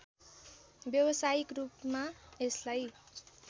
व्यावसायिक रूपमा यसलाई